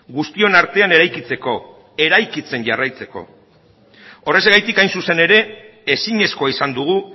guztion artean eraikitzeko eraikitzen jarraitzeko horrexegatik hain zuzen ere ezinezkoa izan dugu